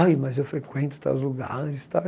Ai, mas eu frequento tais lugares e tal.